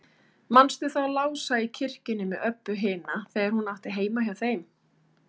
Manstu þá Lása í kirkjunni með Öbbu hina, þegar hún átti heima hjá þeim?